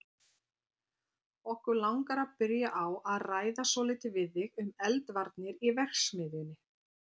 Okkur langar að byrja á að ræða svolítið við þig um eldvarnir í verksmiðjunni.